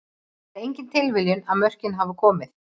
Það er engin tilviljun að mörkin hafa komið.